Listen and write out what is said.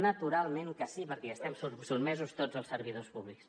naturalment que sí perquè hi estem sotmesos tots els servidors públics